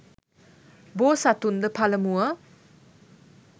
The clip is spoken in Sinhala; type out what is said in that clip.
බෝසතුන්ද පළමුව